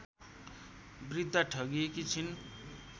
वृद्धा ठगिएकी छिन्